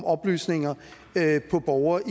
oplysninger om borgere